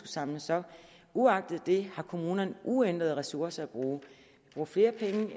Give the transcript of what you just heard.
samles op uagtet det har kommunerne uændrede ressourcer at bruge